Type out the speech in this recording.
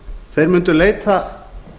þeir mundu leita